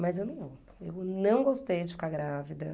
Mas eu não, eu não gostei de ficar grávida.